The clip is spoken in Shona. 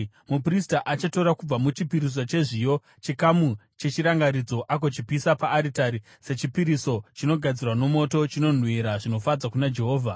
Muprista achatora kubva muchipiriso chezviyo chikamu chechirangaridzo agochipisa paaritari sechipiriso chinogadzirwa nomoto, chinonhuhwira zvinofadza kuna Jehovha.